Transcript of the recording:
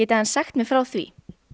aðeins sagt mér frá því